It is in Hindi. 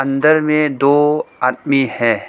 अंदर में दो आदमी है।